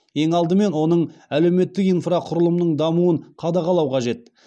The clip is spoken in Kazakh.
ең алдымен оның әлеуметтік инфрақұрылымының дамуын қадағалау қажет